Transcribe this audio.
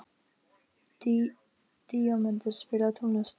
Díómedes, spilaðu tónlist.